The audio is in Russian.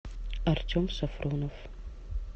артем сафронов